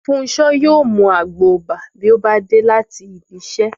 Fúnṣo yóò mú mu àgbo ìbà bí ó bá dé láti ibi iṣẹ́